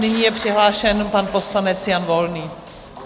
Nyní je přihlášen pan poslanec Jan Volný.